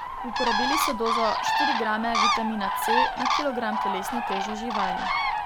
Uporabili so dozo štiri grame vitamina C na kilogram telesne teže živali.